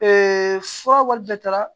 fura wali bɛɛ taara